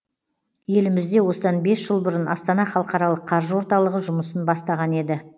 елімізде осыдан бес жыл бұрын астана халықаралық қаржы орталығы жұмысын бастаған еді